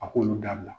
A k'olu dabila